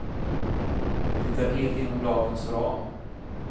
Det är helt inom lagens ram.